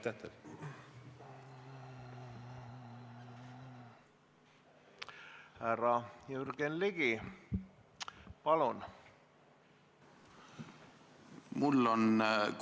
Härra Jürgen Ligi, palun!